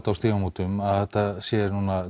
Stígamótum að þetta sé svona